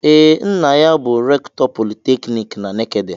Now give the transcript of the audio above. Ee, nna ya bụ rektọ politekniki dị na Nekede.